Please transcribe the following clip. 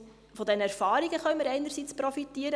Einerseits können wir von diesen Erfahrungen profitieren.